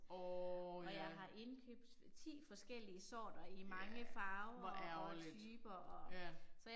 Åh ja. Ja, hvor ærgerligt, ja